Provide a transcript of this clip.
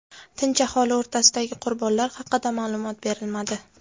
Tinch aholi o‘rtasidagi qurbonlar haqida ma’lumot berilmadi.